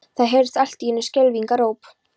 Það heyrðist allt í einu skelfingaróp.